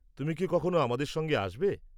তুমি কি কখনো আমাদের সঙ্গে আসবে?